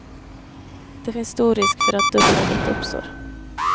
Det finns stor risk för att dubbelarbete uppstår.